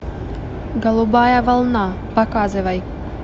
голубая волна показывай